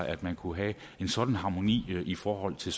at man kunne have en sådan harmoni i forhold til